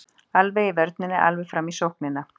Alveg í vörninni alveg fram í sóknina.